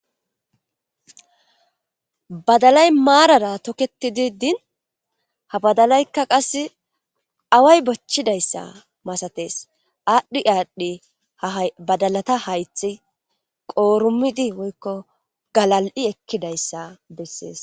Badalay maarara toketi didin ha badalaykka qas away bochchidayssa masates aadhdhi aadhdhi hbadalata haythi qoorumidi woykko galal'i ekkidayssa bessees.